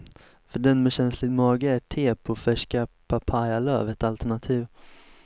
För den med känslig mage är te på färska papayalöv ett alternativ.